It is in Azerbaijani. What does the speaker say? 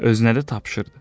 Özünə də tapşırdı: